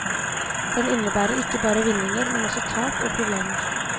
Den innebærer ikke bare vinninger, men også tap og problemer.